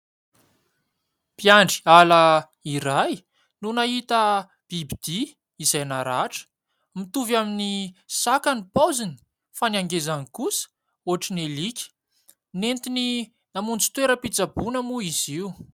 Mpiandry ala iray no nahita bibidia izay naratra, mitovy amin'ny saka ny paoziny fa ny angezany kosa ohatran'ny alika. Noentiny namonjy toeram-pitsaboana moa izy io.